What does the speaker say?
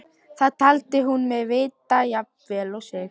Það taldi hún mig vita jafn vel og sig.